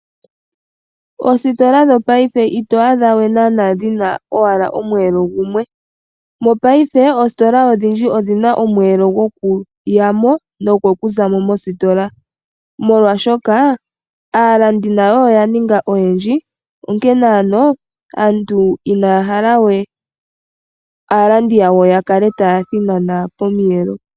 Oostola dhongashingeyi ito adhawe naana dhina omweelo gumwe . Mongashingeyi oostola odhindji odhina omweelo gukuya mo nogokuza mo mostola molwashoka aalandi nayo oya ninga oyendji. Onkene ano aantu inaaya hala we aalandi yawo yakale taya thinana pomiyelo.